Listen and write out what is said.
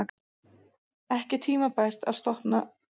Ekki tímabært að stofna þingflokk